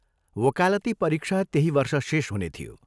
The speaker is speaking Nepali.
वकालती परीक्षा त्यही वर्ष शेष हुने थियो।